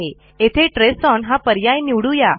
येथे trace on हा पर्याय निवडू या